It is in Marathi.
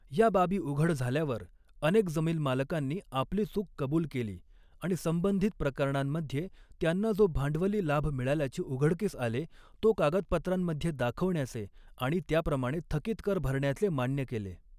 या बाबी उघड झाल्यावर अनेक जमीन मालकांनी आपली चूक कबूल केली आणि संबंधित प्रकरणांमध्ये त्यांना जो भांडवली लाभ मिळाल्याचे उघ़डकीस आले, तो कागदपत्रांमध्ये दाखवण्याचे आणि त्याप्रमाणे थकित कर भरण्याचे मान्य केले.